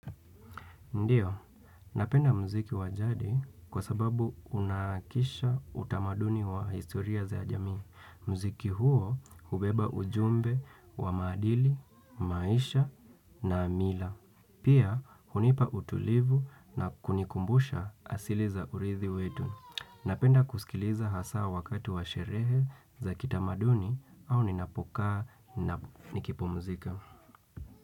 Ndiyo, napenda muziki wa jadi kwa sababu unaakisha utamaduni wa historia za jamii. Mziki huo hubeba ujumbe wa maadili, maisha na mila. Pia, hunipa utulivu na kunikumbusha asili za urithi wetu. Napenda kusikiliza hasa wakati wa sherehe za kitamaduni au ninapokaa na nikipumzika.